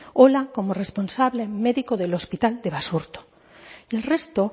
ola como responsable médico del hospital de basurto y el resto